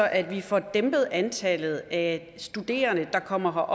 at vi får dæmpet antallet af studerende der kommer